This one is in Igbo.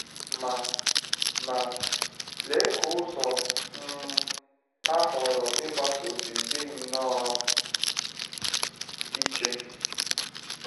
Ma Ma, lee ka ụzọ um ha họọrọ ịgbaso si dị nnọọ iche!